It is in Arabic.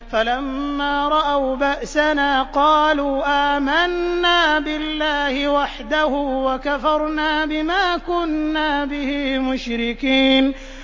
فَلَمَّا رَأَوْا بَأْسَنَا قَالُوا آمَنَّا بِاللَّهِ وَحْدَهُ وَكَفَرْنَا بِمَا كُنَّا بِهِ مُشْرِكِينَ